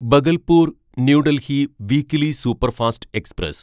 Bhagalpur New Delhi weekly superfast express